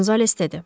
Qonzales dedi.